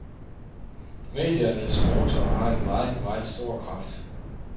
Mediernes motor har en meget, meget stor kraft.